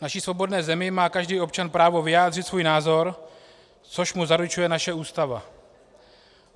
V naší svobodné zemi má každý občan právo vyjádřit svůj názor, což mu zaručuje naše Ústava.